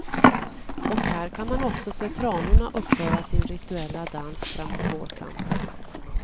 Och här kan man också se tranorna uppföra sin rituella dans framåt vårkanten.